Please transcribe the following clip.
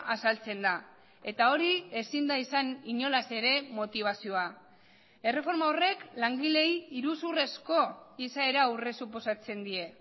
azaltzen da eta hori ezin da izan inolaz ere motibazioa erreforma horrek langileei iruzurrezko izaera aurresuposatzen die